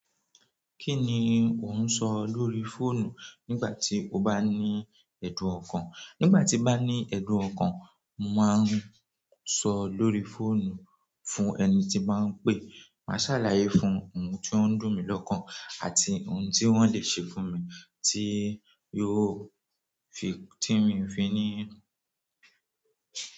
Kí ni ò ń sọ lórí fóònù nígbà tí o bá ní ẹ̀dùn ọkàn? Nígbà tí n bá ní ẹ̀dùn ọkàn, mo máa ń sọ lórí fóònù fún ẹni tí n bá ń pè. Màá sàlàyé fún-un ohun tí ó ń dùn mí lọ́kàn àti ohun tí wọ́n le ṣe fún mi tí yóò fi tí mi ò fi ní.